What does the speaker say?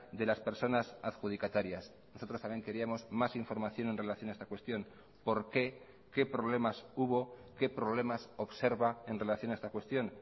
de las personas adjudicatarias nosotros también queríamos más información en relación a esta cuestión por qué qué problemas hubo qué problemas observa en relación a esta cuestión